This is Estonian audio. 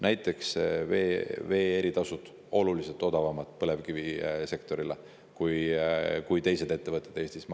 Näiteks on vee eri tasud põlevkivisektorile oluliselt odavamad kui teistele ettevõtetele Eestis.